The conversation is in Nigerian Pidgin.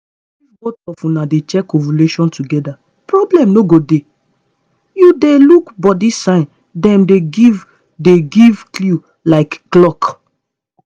if both of una dey track ovulation together problem no go dey. you dey look body signs dem dey give dey give clue like clock.